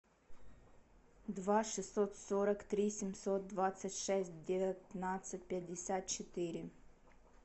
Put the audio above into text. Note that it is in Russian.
два шестьсот сорок три семьсот двадцать шесть девятнадцать пятьдесят четыре